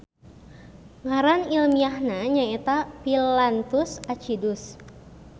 Ngaran ilmiahna nyaeta Phyllanthus acidus.